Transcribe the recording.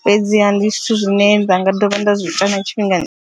fhedziha ndi zwithu zwine nda nga dovha nda zwi ita na tshifhingani.